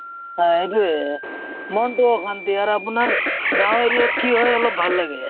সেইটোয়ে মনটো অশান্তি আৰু আপোনাৰ গাও area ত কি হয় অলপ ভাল লাগে